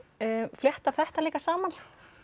flettar þetta líka saman